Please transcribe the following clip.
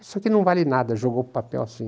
Isso aqui não vale nada, jogou o papel assim.